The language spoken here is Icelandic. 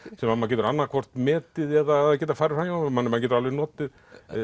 sem maður getur annað hvort metið eða geta farið framhjá manni maður getur alveg notið